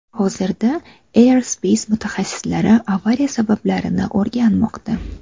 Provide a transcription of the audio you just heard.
Hozirda Arianespace mutaxassislari avariya sabablarini o‘rganmoqda.